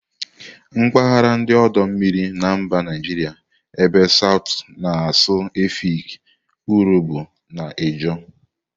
Mpaghara ndi odo mmiri na mba Naijiria ebe southu na-asụ Efik, Urhobo na Ijaw.